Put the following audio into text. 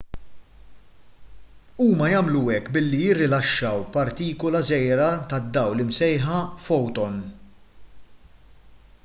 huma jagħmlu hekk billi jirilaxxaw partikula żgħira tad-dawl imsejħa foton